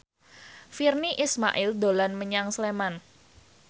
Virnie Ismail dolan menyang Sleman